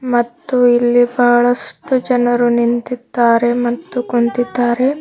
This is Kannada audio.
ಮತ್ತು ಇಲ್ಲಿ ಬಹಳಷ್ಟು ಜನರು ನಿಂತಿದ್ದಾರೆ ಮತ್ತು ಕುಂತಿದ್ದಾರೆ.